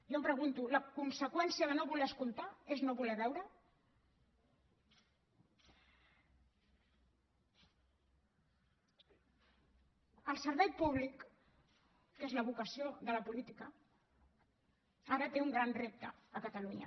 jo em pregunto la conseqüència de no voler escoltar és no voler veurehi el servei públic que és la vocació de la política ara té un gran repte a catalunya